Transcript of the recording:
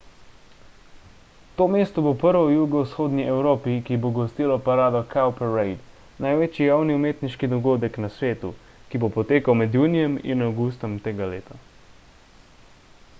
to mesto bo prvo v jugovzhodni evropi ki bo gostilo parado cowparade največji javni umetniški dogodek na svetu ki bo potekal med junijem in avgustom tega leta